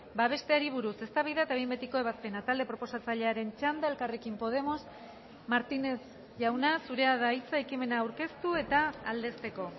babesteari buruz eztabaida eta behin betiko ebazpena talde proposatzailearen txanda elkarrekin podemos martínez jauna zurea da hitza ekimena aurkeztu eta aldezteko